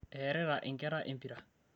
eerita inkera empira